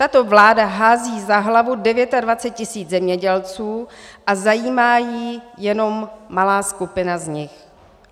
Tato vláda hází za hlavu 29 tisíc zemědělců a zajímá ji jenom malá skupina z nich.